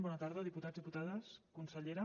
bona tarda diputats diputades consellera